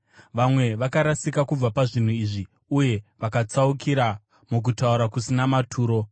Vamwe vakarasika kubva pazvinhu izvi uye vakatsaukira mukutaura kusina maturo.